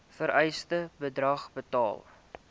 vereiste bedrag betaal